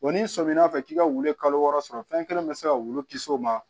Wa n'i sɔmina fɛ k'i ka wulu kalo wɔɔrɔ sɔrɔ fɛn kelen bɛ se ka wulu kisi o ma